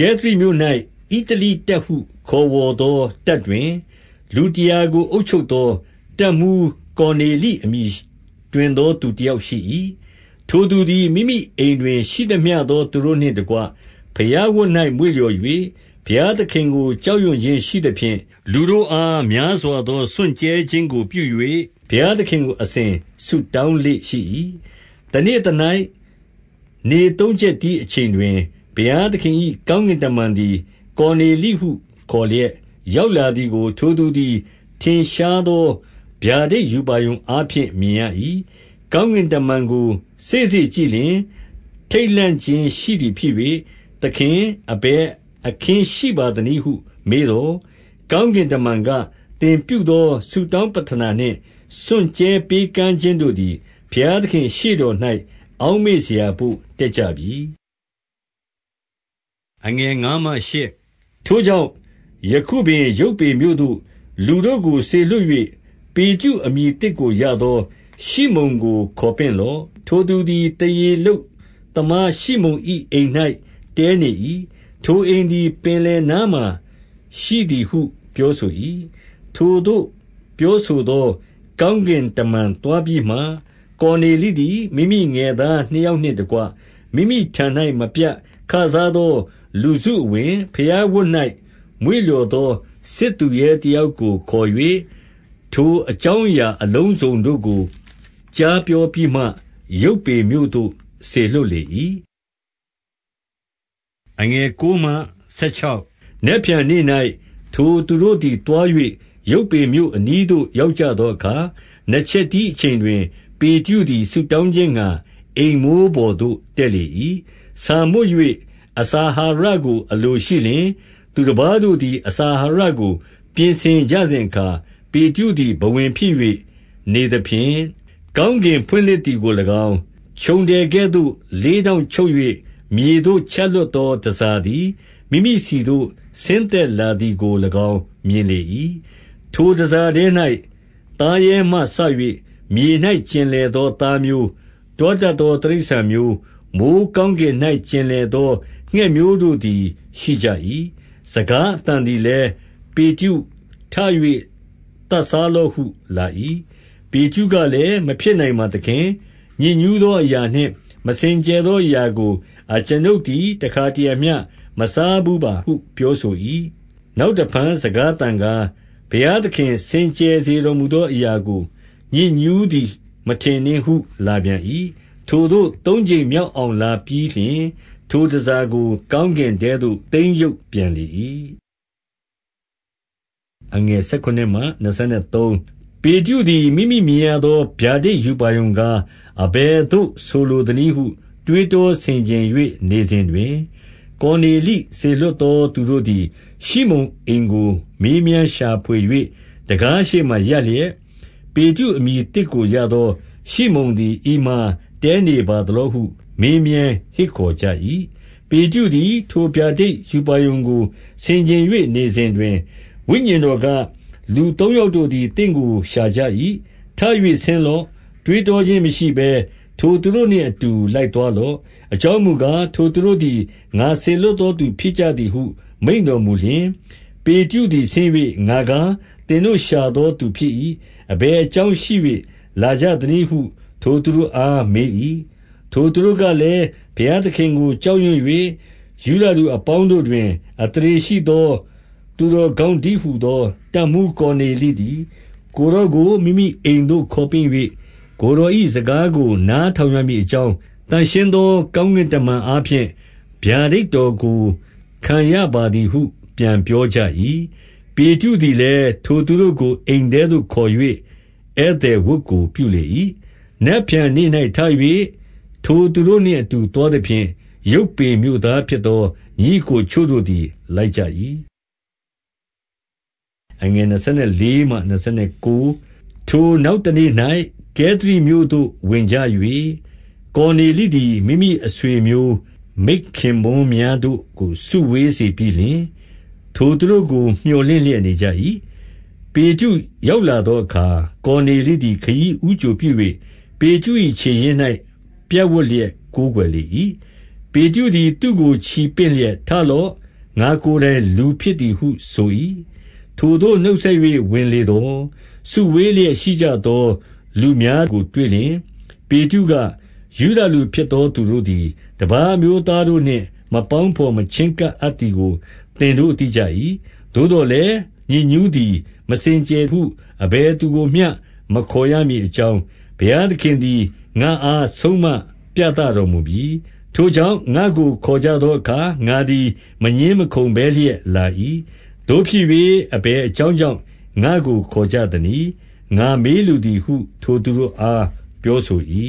ကဲသရိမြို့၌ ဣတလိတပ်ဟု ခေါ်ဝေါ်သော တပ်တွင် လူတရာ ကိုအုပ်ချုပ်သော တပ်မှူးကော်နေလိ အမည် တွင်သော သူတယောက်ရှိ ၏။ ထိုသူသည် မိမိအိမ်တွင်ရှိသမျှသော သူတို့နှင့်တကွ ဘုရားဝတ်၌ မွေ့လျော်၍ ဘုရားသခင်ကို ကြောက်ရွံ့ခြင်းရှိသဖြင့် လူတို့အားများစွာသော စွန့်ကြဲ ခြင်းကိုပြု၍ ဘုရားသခင်ကို အစဉ်ဆုတောင်းလေ့ရှိ၏။ တနေ့သ၌ နေသုံးချက်တီးအချိန်တွင် ဘုရား သခင်၏ ကောင်းကင်တမန်သည်၊ ကော်နေလိဟု ခေါ်လျက် ရောက်လာသည်ကို ထိုသူသည် ထင်ရှားသော ဗျာဒိတ်ရူပါရုံအားဖြင့် မြင်ရ၏။ ကောင်းကင်တမန်ကို စေ့စေ့ကြည့်လျှင် ထိတ်လန့်ခြင်းရှိသည် ဖြစ်၍၊ သခင်၊ အဘယ်အခင်းရှိပါ သနည်းဟု မေးသော်၊ ကောင်းကင် တမန်က၊ သင်ပြု သောဆုတောင်းပဌနာနှင့် စွန့်ကြဲပေးကမ်းခြင်းတို့သည် ဘုရားသခင့်ရှေ့တော်၌ အောက်မေ့စရာဘို့တက်ကြပြီ။ ထိုကြောင့် ယခုပင်ယုပွေမြို့သို့ လူတို့ကိုစေလွှတ်၍၊ ပေတရု အမည်သစ်ကိုရသော ရှိမုန်ကိုခေါ်ပင့်လော့။ ထိုသူသည်သားရေလုပ်သမားရှိမုန်၏ အိမ်၌ တည်းနေ၏။ ထိုအိမ်သည် ပင်လယ်နားမှာ ရှိသည်ဟု ပြောဆို၏။ ထိုသို့ပြောဆိုသော ကောင်းကင်တမန်သွားပြီးမှ၊ ကော်နေလိသည် မိမိငယ်သားနှစ်ယောက်နှင့်တကွ မိမိထံ၌ မပြတ်ခစားသောလူစု အဝင်၊ ဘုရားဝတ်၌ မွေ့လျော်သော စစ်သူရဲတယောက်ကိုခေါ်၍၊ ထိုအကြောင်းအရာအလုံးစုံတို့ကို ကြားပြောပြီးမှ ယုပွေမြို့သို့ စေလွှတ်၏။ နက်ဖြန်နေ့၌ ထိုသူတို့သည် သွား၍ ယုပွေမြို့ အနီးသို့ ရောက်ကြသောအခါ၊ နှစ်ချက်တီးအချိန်တွင် ပေတရုသည် ဆုတောင်းခြင်း ငှါအိမ်မိုးပေါ်သို့ တက်လေ ၏။ ဆာမွတ်၍ အစာအာဟာရကို အလိုရှိလျှင် သူတပါးတို့သည် အစာအာဟာရကို ပြင်ဆင်ကြစဉ်အခါ ပေတရုသည် ဘဝင်ဖြစ်၍ နေသဖြင့်၊ ကောင်းကင်ဖွင့်လှစ်သည်ကို၎င်း၊ ခြုံထည်ကဲ့သို့ လေးထောင့် ချုပ်၍ မြေသို့ချလွှတ်သော တန်ဆာသည် မိမိဆီသို့ဆင်းသက်လာသည် ကို၎င်းမြင်လေ၏။ ထိုတန်ဆာထဲ၌ သားရဲမှစ၍မြေ၌ကျင်လည် သောသားမျိုး၊ တွားတတ်သော တိရစ္ဆာန်မျိုး၊ မိုဃ်း ကောင်းကင်၌ ကျင်လည်သော ငှက်မျိုး တို့သည်ရှိကြ၏။ စကားအသံသည်လည်း၊ ပေတရုထ၍ သတ်စား လော့ဟု လာ၏။ ပေတရုကလည်း၊ မဖြစ်နိုင်ပါသခင်။ ညစ်ညူး သောအရာနှင့် မစင်ကြယ်သောအရာကို အကျွန်ုပ်သည် တရံတခါမျှ မစားဘူးပါဟု ပြောဆို၏။ နောက်တဖန် စကားသံကား၊ ဘုရားသခင် စင်ကြယ်စေတော် မူသောအရာကို ညစ်ညူးသည်မထင် နှင့်ဟု လာပြန်၏။ ထိုသို့ သုံးကြိမ်မြောက်အောင်လာပြီးလျှင်၊ ထိုတန်ဆာကို ကောင်းကင်ထဲသို့ သိမ်းရုပ်ပြန်လေ၏။ ပေတရုသည် မိမိမြင်ရသော ဗျာဒိတ်ရူပါရုံ ကား၊ အဘယ်သို့ ဆိုလိုသနည်းဟု တွေးတောဆင်ခြင်၍ နေစဉ်တွင်၊ ကော်နေလိစေလွှတ် သောသူတို့သည် ရှိမုန်အိမ်ကို မေးမြန်းရှာဖွေ၍ တံခါးရှေ့မှာရပ်လျက်၊ ပေတရုအမည်သစ်ကိုရသော ရှိမုန်သည် ဤမှာတည်းနေပါ သလောဟု မေးမြန်းဟစ်ခေါ်ကြ၏။ ပေတရုသည်ထိုဗျာဒိတ်ရူပါရုကို ဆင်ခြင်၍နေစဉ်တွင် ဝိညာဉ်တော်က၊ လူသုံးယောက်တို့သည် သင့်ကိုရှာကြ၏။ ထ၍ဆင်းလော့။ တွေးတောခြင်းမရှိဘဲ ထိုသူတို့နှင့်အတူ လိုက်သွားလော့။ အကြောင်းမူကား၊ ထိုသူတို့သည် ငါစေလွှတ်သော သူဖြစ်ကြသည်ဟု မိန့်တော်မူလျှင်၊ ပေတရုသည်ဆင်း၍၊ ငါကား၊ သင်တို့ရှာသော သူဖြစ်၏။ အဘယ်အကြောင်းရှိ၍ လာကြသနည်းဟု ထိုသူတို့အားမေး၏။ ထိုသူတို့ကလည်း ဘုရားသခင်ကိုကြောက်ရွံ့၍၊ ယုဒလူ အပေါင်းတို့တွင် အသရေရှိသော သူတော်ကောင်း တည်းဟူသော တပ်မှူး ကော်နေလိသည်၊ ကိုယ်တော်ကို မိမိအိမ်သို့ခေါ်ပင့်၍ ကိုယ်တော်၏ စကားကို နားထောင် ရမည်အကြောင်း၊ သန့်ရှင်းသော ကောင်းကင်တမန် အားဖြင့် ဗျာဒိတ်တော်ကို ခံရပါသည်ဟု ပြန်ပြောကြ၏။ ပေတရုသည်လည်းထိုသူတို့ကို အိမ်ထဲသို့ခေါ်၍ ဧည့်သည်ဝတ် ကိုပြုလေ၏။ နက်ဖြန်နေ့၌ထ၍ ထိုသူတို့ နှင့်အတူ သွားသဖြင့်၊ ယုပွေ မြို့သားဖြစ်သော ညီအစ်ကို အချို့တို့သည် လိုက်ကြ၏။ ထိုနောက်တနေ့၌ ကဲသရိမြို့သို့ဝင်ကြ၍၊ ကော်နေလိသည် မိမိ အဆွေအမျိုး မိတ်ခင်ပွန်းများတို့ကို စုဝေးစေပြီးလျှင်၊ ထိုသူတို့ကို မြော်လင့်လျက်နေကြ၏။ ပေတရုရောက်လာသောအခါ ကော်နေလိသည် ခရီးဦးကြိုပြု၍၊ ပေတရု၏ခြေရင်း၌ပြပ်ဝပ်လျက် ကိုးကွယ်လေ၏။ ပေတရုသည် သူ့ကိုချီပင့်လျက်၊ ထလော့။ ငါကိုယ်တိုင် လူဖြစ်သည်ဟုဆို၏။ ထိုသို့နှုတ်ဆက်၍ ဝင်လေသော် စုဝေးလျက်ရှိ ကြသော လူများကိုတွေ့လျှင်၊ ပေတရုက၊ ယုဒလူဖြစ်သောသူတို့သည် တပါး အမျိုးသားတို့နှင့် မပေါင်းတော် မချည်းကပ်အပ်သည်ကို သင်တို့သိကြ၏။ သို့သော်လည်း ညစ်ညူးသည် မစင်ကြယ် ဟု အဘယ်သူကိုမျှ မခေါ်ရမည်အကြောင်း၊ ဘုရားသခင် သည်၊ ငါ့အားဆုံးမပြသတော်မူပြီ။ ထိုကြောင့်ငါ့ကိုခေါ်ကြသောအခါ ငါသည် မငြင်းမခုံဘဲလျက် လာ၏။ သို့ဖြစ်၍ အဘယ်အကြောင်း ကြောင့် ငါ့ကိုခေါ်ကြသနည်း၊ ငါမေးလိုသည်ဟု ထိုသူတို့ အားပြောဆို၏။